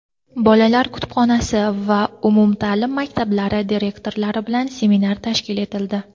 "Bolalar kutubxonasi" va umumta’lim maktablari direktorlari bilan seminar tashkil etildi.